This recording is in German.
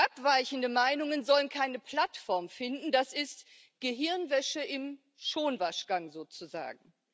Abweichende Meinungen sollen keine Plattform finden, das ist Gehirnwäsche im Schonwaschgang sozusagen.